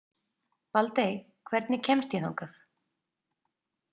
Baldey, hvernig kemst ég þangað?